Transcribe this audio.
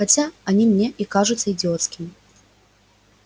хотя они мне и кажутся идиотскими